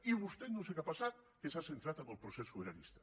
i vostè no sé què ha passat que s’ha centrat en el procés sobiranista